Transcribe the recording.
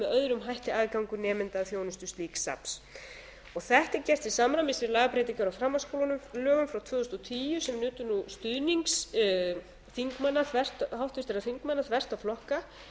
öðrum hætti aðgangur nemenda að þjónustu slíks safns þetta er gert til samræmis við lagabreytingar á framhaldsskólalögum frá tvö þúsund og tíu sem nutu nú stuðnings háttvirtra þingmanna þvert á flokka